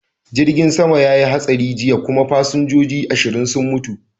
Jirgin sama ya yi hatsari jiya kuma fasinjoji ashirin sun mutu.